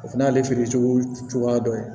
O fana y'ale feerecogo cogoya dɔ ye